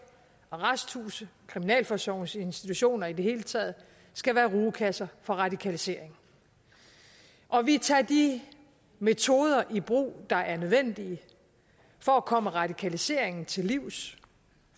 arresthuse kriminalforsorgens institutioner i det hele taget skal være rugekasser for radikalisering og vi tager de metoder i brug der er nødvendige for at komme radikaliseringen til livs